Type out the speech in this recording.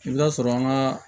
I bɛ taa sɔrɔ an ka